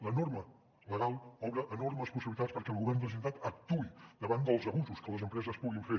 la norma legal obre enormes possibilitats perquè el govern de la generalitat actuï davant dels abusos que les empreses puguin fer